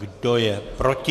Kdo je proti?